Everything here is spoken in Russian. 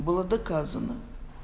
было доказано